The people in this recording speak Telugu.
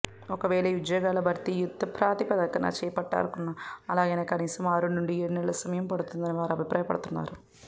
ఒకవేళ ఈ ఉద్యోగాల భర్తీ యుద్దప్రాతిపదికన చేపట్టారనుకున్నా అలాగైనా కనీసం ఆరునుండి ఏడునెలల సమయం పడుతుందని వారు అభిప్రాయపడుతున్నారు